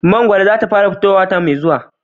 Mangwaro za ta fara fitowa wata mai zuwa